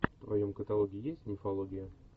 в твоем каталоге есть мифология